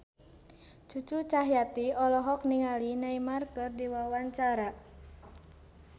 Cucu Cahyati olohok ningali Neymar keur diwawancara